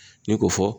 Ne ko fɔ